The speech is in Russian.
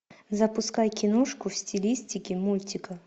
запускай киношку в стилистике мультика